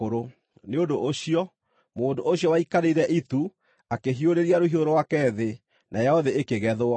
Nĩ ũndũ ũcio, mũndũ ũcio waikarĩire itu akĩhiũrĩria rũhiũ rwake thĩ, nayo thĩ ĩkĩgethwo.